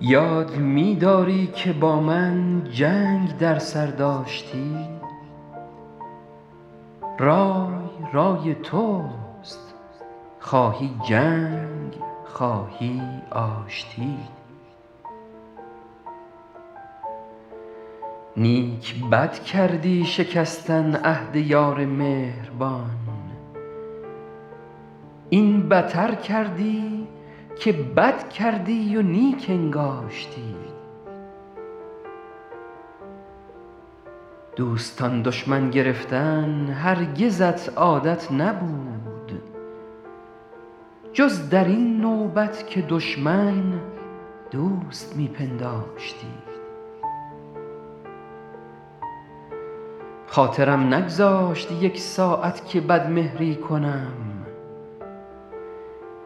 یاد می داری که با من جنگ در سر داشتی رای رای توست خواهی جنگ خواهی آشتی نیک بد کردی شکستن عهد یار مهربان این بتر کردی که بد کردی و نیک انگاشتی دوستان دشمن گرفتن هرگزت عادت نبود جز در این نوبت که دشمن دوست می پنداشتی خاطرم نگذاشت یک ساعت که بدمهری کنم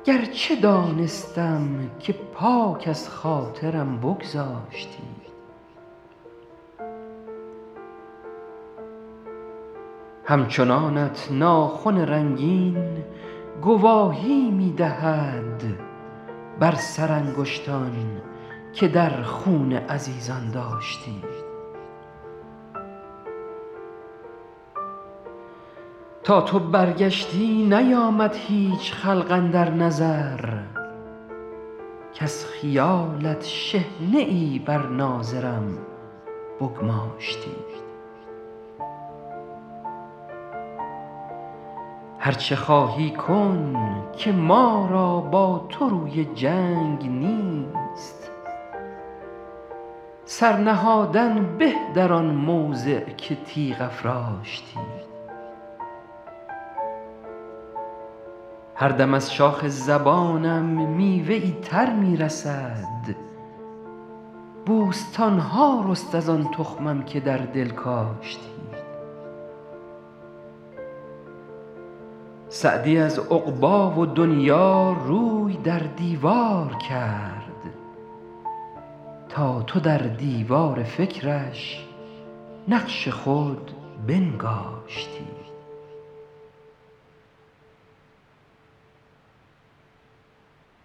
گرچه دانستم که پاک از خاطرم بگذاشتی همچنانت ناخن رنگین گواهی می دهد بر سرانگشتان که در خون عزیزان داشتی تا تو برگشتی نیامد هیچ خلق اندر نظر کز خیالت شحنه ای بر ناظرم بگماشتی هر چه خواهی کن که ما را با تو روی جنگ نیست سر نهادن به در آن موضع که تیغ افراشتی هر دم از شاخ زبانم میوه ای تر می رسد بوستان ها رست از آن تخمم که در دل کاشتی سعدی از عقبی و دنیا روی در دیوار کرد تا تو در دیوار فکرش نقش خود بنگاشتی